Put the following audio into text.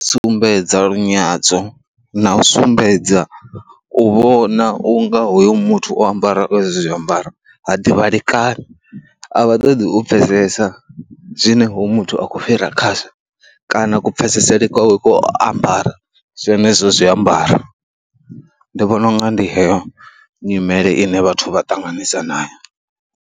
Sumbedza lunyadzo na u sumbedza u vhona u nga hoyo muthu o ambaraho hezwo zwiambaro ha ḓivhalekani, a vha ṱoḓi u pfhesesa zwine hoyu muthu a khou fhira khazwo kana kupfhesesele kwawe ku ambara zwenezwo zwiambaro, ndi vhona u nga ndi heyo nyimele ine vhathu vha ṱanganisa nayo.